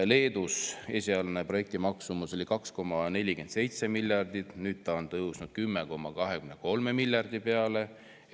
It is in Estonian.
Leedus oli projekti esialgne maksumus 2,47 miljardit, nüüd on see tõusnud 10,23 miljardi peale.